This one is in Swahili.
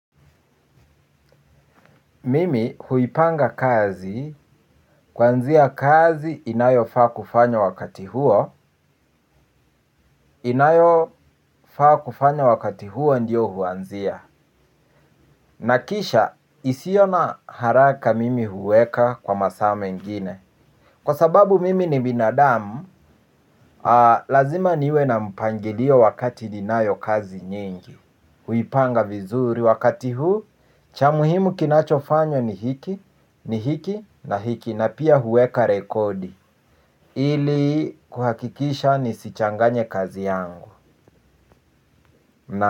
Mimi huipanga kazi, kwanzia kazi inayofaa kufanywa wakati huo, inayofaa kufanywa wakati huo ndiyo huanzia. Nakisha isio na haraka mimi huweka kwa masaa mengine kwa sababu mimi ni binadamu, lazima niwe na mpangilio wakati ninayo kazi nyingi. Uipanga vizuri wakati huu cha muhimu kinachofanywa ni hiki ni hiki na hiki na pia huweka rekodi ili kuhakikisha nisichanganye kazi yangu.